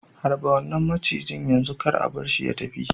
Harba wannan macijin yanzu! kar a bar shi ya tafi.